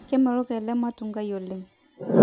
kemelok ele matungai oleng